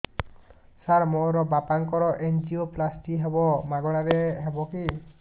ସାର ମୋର ବାପାଙ୍କର ଏନଜିଓପ୍ଳାସଟି ହେବ ମାଗଣା ରେ ହେବ କି